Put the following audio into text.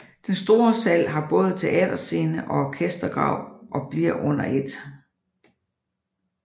Den store sal har både teaterscene og orkestergrav og blev under 1